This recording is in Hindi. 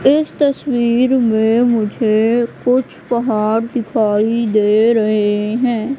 इस तस्वीर में मुझे कुछ पहाड़ दिखाई दे रहे हैं।